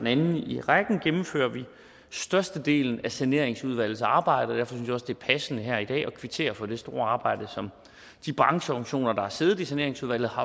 anden i rækken gennemfører vi størstedelen af saneringsudvalgets arbejdes jeg også det er passende her i dag at kvittere for det store arbejde som de brancheorganisationer der har siddet i saneringsudvalget har